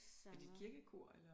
Er det et kirkekor eller